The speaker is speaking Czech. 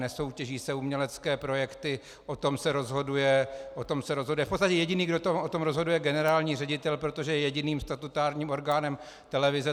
Nesoutěží se umělecké projekty, o tom se rozhoduje, v podstatě jediný, kdo o tom rozhoduje, je generální ředitel, protože je jediným statutárním orgánem televize.